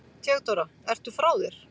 THEODÓRA: Ertu frá þér?